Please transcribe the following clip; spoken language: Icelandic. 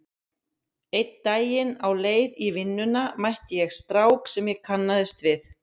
Einn daginn á leið í vinnuna mætti ég strák sem ég kannaðist við.